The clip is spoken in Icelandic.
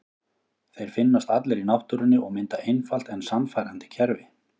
Þeir finnast allir í náttúrunni og mynda einfalt en sannfærandi kerfi.